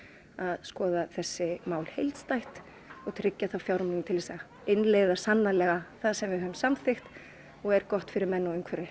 skoða þessi mál heildstætt og tryggja þá fjármuni sem til að innleiða sannarlega það sem við höfum samþykkt og er gott fyrir menn og umhverfi